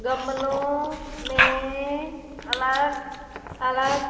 गमलों में अलग अलग--